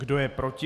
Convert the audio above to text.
Kdo je proti?